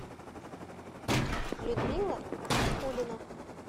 людмила никулина